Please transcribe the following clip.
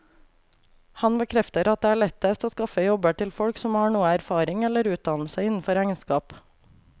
Han bekrefter at det er lettest å skaffe jobber til folk som har noe erfaring eller utdannelse innenfor regnskap.